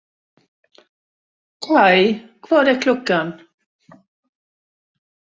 Kaj, hvað er klukkan?